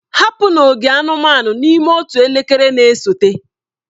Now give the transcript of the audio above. Hapụ n'ogige anụmanụ n'ime otu elekere na-esote!